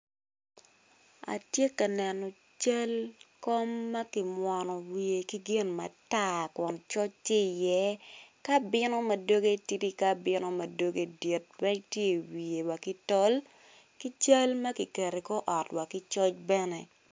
Atye ka neno cal kom ma kimwono wiye ki gin matar kun coc tye iye ki abino ma doge tidi ki abino ma doge dit rec tye iwiye wa ki tol ki cal ma kiketo i kor ot wa ki coc bene.